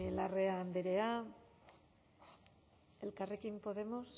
larrea andrea elkarrekin podemos